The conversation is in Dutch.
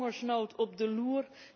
Hongersnood op de loer.